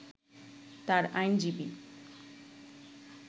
তার আইনজীবী